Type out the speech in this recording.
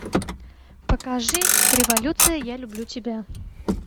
покажи революция я люблю тебя